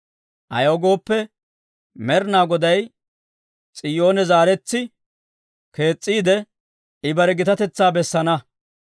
Ayaw gooppe, Med'inaa Goday S'iyoone zaaretsi kees's'iide, I bare gitatetsaa bessana.